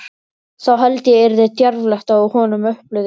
Þá held ég yrði djarflegt á honum upplitið!